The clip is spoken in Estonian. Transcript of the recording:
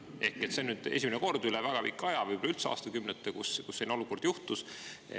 Ehk see on nüüd esimene kord üle väga pika aja, võib-olla üldse aastakümnete, kus selline olukord juhtus.